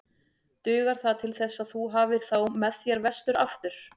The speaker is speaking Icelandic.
Dugar það til þess að þú hafir þá með þér vestur aftur?